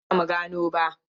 Har yanzu ba mu gano ba.